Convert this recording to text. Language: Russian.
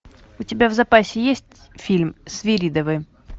у тебя в запасе есть фильм свиридовы